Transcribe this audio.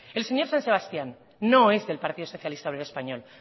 el señor san sebastián no es del partido socialista obrero español